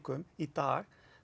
í dag